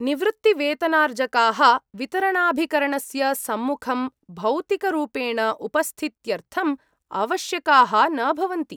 निवृत्तिवेतनार्जकाः वितरणाभिकरणस्य सम्मुखं भौतिकरूपेण उपस्थित्यर्थम् आवश्यकाः न भवन्ति।